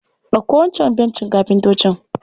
Ɗauko wancan bencin kafintoci.